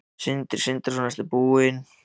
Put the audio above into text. Sindri Sindrason: Ertu búin að skíra hann?